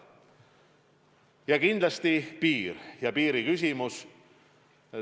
Ja kindlasti jäävad piiriküsimused.